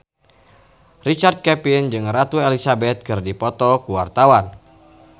Richard Kevin jeung Ratu Elizabeth keur dipoto ku wartawan